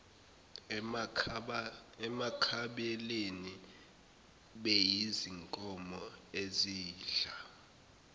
emakhabeleni beyizinkomo ezidla